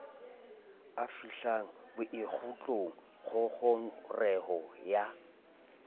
a fihlang bokgutlong ngongoreho ya